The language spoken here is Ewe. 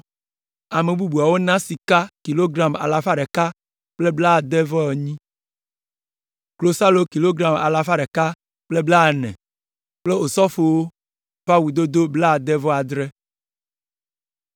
Ame bubuawo na sika kilogram alafa ɖeka kple blade-vɔ-enyi (168), klosalo kilogram alafa ɖeka kple blaene (140) kple osɔfowo ƒe awudodo blaade-vɔ-adre.